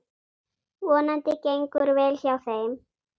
Vonandi gengur vel hjá þeim.